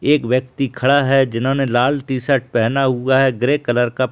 एक व्‍यक्ति खड़ा है जिन्‍होंने लाल टी -शर्ट पहना हुआ है ग्रे कलर का--